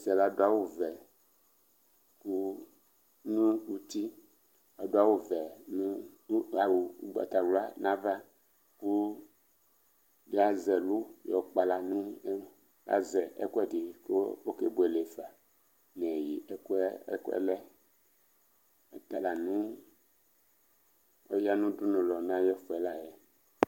ɔsi ladu ɛkuwɛ nuti awu ugbatawla nava Lazɛ ɛlu kpala Lazɛ ɛkuɛdi nawla kɔkebuele fa nineyi ɛkuɛlɛ Tala ɔya nudunuwlɔ nayifuɛ layɛ